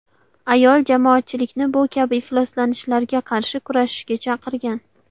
Ayol jamoatchilikni bu kabi ifloslanishlarga qarshi kurashishga chaqirgan.